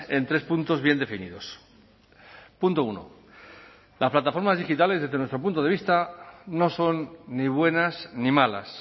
en tres puntos bien definidos punto uno las plataformas digitales desde nuestro punto de vista no son ni buenas ni malas